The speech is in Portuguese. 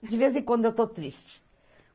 De vez em quando, eu estou triste.